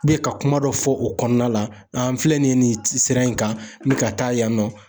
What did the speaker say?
ka kuma dɔ fɔ o kɔnɔna la an filɛ nin ye nin sira in kan n b'i ka taa yan nɔ